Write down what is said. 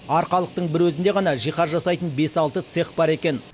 арқалықтың бір өзінде ғана жиһаз жасайтын бес алты цех бар екен